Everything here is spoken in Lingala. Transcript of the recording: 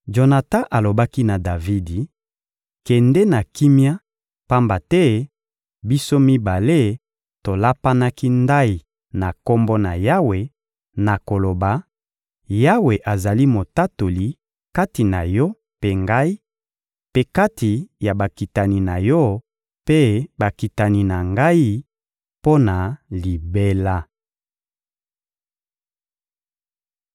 Jonatan alobaki na Davidi: «Kende na kimia, pamba te biso mibale tolapanaki ndayi na Kombo na Yawe na koloba: ‹Yawe azali Motatoli kati na yo mpe ngai, mpe kati ya bakitani na yo mpe bakitani na ngai mpo na libela.›»